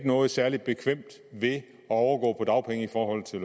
noget særlig bekvemt ved at overgå til dagpenge i forhold til